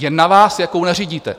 Je na vás, jakou nařídíte.